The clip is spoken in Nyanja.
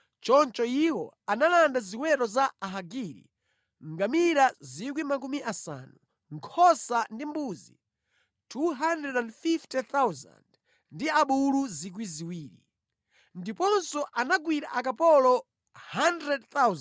Choncho iwo analanda ziweto za Ahagiri: ngamira 50,000, nkhosa ndi mbuzi 250,000 ndi abulu 2,000. Ndiponso anagwira akapolo 100,000,